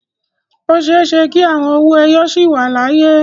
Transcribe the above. O ṣeé ṣe kí àwọn owó ẹyọ sì wà láyé.